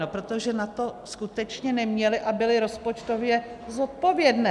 No protože na to skutečně neměly a byly rozpočtově zodpovědné.